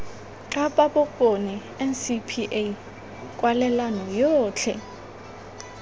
kapa bokone ncpa kwalelano yotlhe